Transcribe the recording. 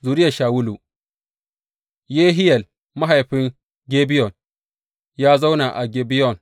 Zuriyar Shawulu Yehiyel mahaifin Gibeyon ya zauna a Gibeyon.